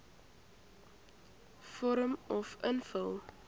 vorm uf invul